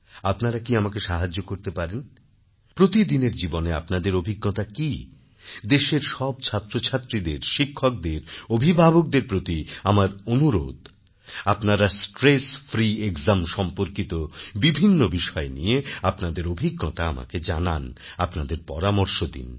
আপনারা কি আমাকে সাহায্য করতে পারেন প্রতিদিনের জীবনে আপনাদের অভিজ্ঞতা কি দেশের সব ছাত্রছাত্রীদের শিক্ষকদের অভিভাবকদের প্রতি আমার অনুরোধ আপনারা স্ট্রেস ফ্রি একজাম সম্পর্কিত বিভিন্ন বিষয় নিয়ে আপনাদের অভিজ্ঞতা আমাকে জানান আপনাদের পরামর্শ দিন